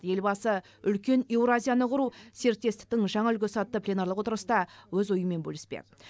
елбасы үлкен еуразияны құру серіктестіктің жаңа үлгісі атты пленарлық отырыста өз ойымен бөліспек